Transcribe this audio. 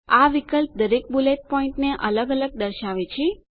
આ વિકલ્પ દરેક બુલેટ પોઈન્ટ મુદ્દા ને અલગ અલગ દર્શાવે છે